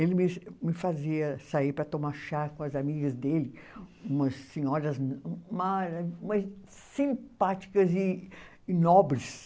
Ele me, me fazia sair para tomar chá com as amigas dele, umas senhoras mara, mas simpáticas e e nobres.